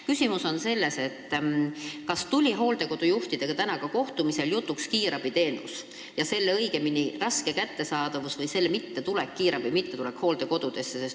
Küsimus on selles, kas hooldekodude juhtidega tuli tänasel kohtumisel jutuks ka kiirabiteenus, õigemini selle raske kättesaadavus või kiirabi mittetulek hooldekodudesse.